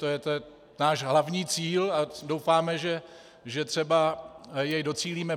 To je náš hlavní cíl a doufáme, že třeba jej docílíme.